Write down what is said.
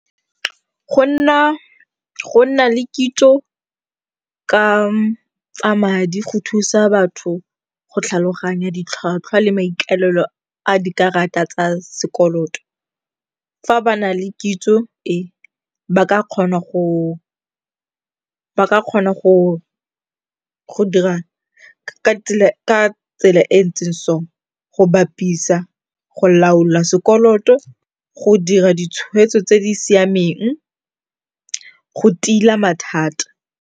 Go nna le kitso ka tsa madi go thusa batho go tlhaloganya ditlhwatlhwa le maikalelo a dikarata tsa sekoloto. Fa ba na le kitso e, ba ka kgona go dira ka tsela e ntseng so, go bapisa, go laola sekoloto, go dira ditshweetso tse di siameng, go tila mathata.